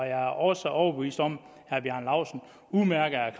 er også overbevist om at herre bjarne laustsen udmærket er